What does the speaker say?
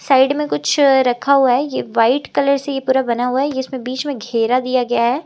Side में कुछ रखा हुआ है ये वाइट कलर से ये पूरा बना हुआ है ये इसमें बीच में घेरा दिया गया है।